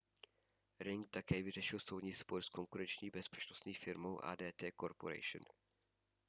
ring také vyřešil soudní spor s konkurenční bezpečnostní firmou adt corporation